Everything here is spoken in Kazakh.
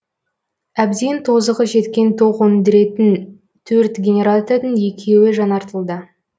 әбден тозығы жеткен тоқ өндіретін төрт генератордың екеуі жаңартылды